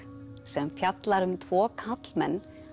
sem fjallar um tvo karlmenn